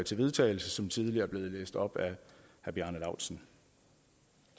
til vedtagelse som tidligere er blevet læst op af herre bjarne laustsen